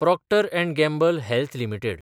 Procter & Gamble health limited